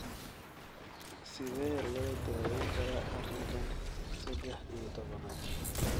Sidee loo daweyn karaa arinka sedex iyo tobnaad?